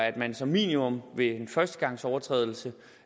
at man som minimum ved en førstegangsovertrædelse